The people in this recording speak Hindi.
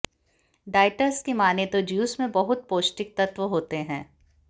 डाइटर्स की माने तो ज्यूस में बहुत पौष्टिक तत्व होते है